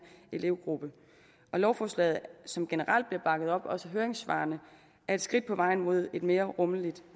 elevgruppe og lovforslaget som generelt bliver bakket op også af høringssvarene er et skridt på vejen mod et mere rummeligt